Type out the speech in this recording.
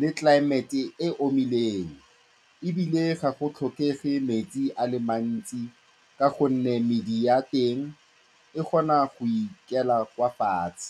le tlelaemete e e omileng, ebile ga go tlhokege metsi a le mantsi ka gonne medi ya teng e kgona go ikela fa fatshe.